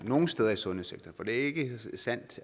nogle steder i sundhedssektoren for det er ikke